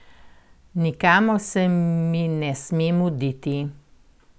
Nikamor se mi ne sme muditi.